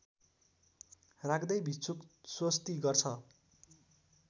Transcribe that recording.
राख्दै भिक्षुक स्वस्ति गर्छ